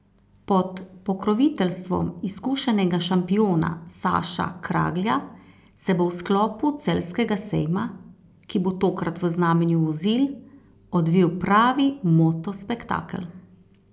Pod pokroviteljstvom izkušenega šampiona Saša Kraglja se bo v sklopu Celjskega sejma, ki bo tokrat v znamenju vozil, odvil pravi moto spektakel.